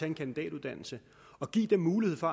en kandidatuddannelse og give dem mulighed for